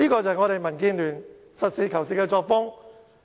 這是民建聯實事求是的作風。